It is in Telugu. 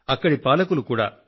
అక్కడి పాలకులు కూడా